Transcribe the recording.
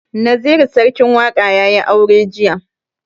Naziru sarkin waƙa ya yi aure jiya.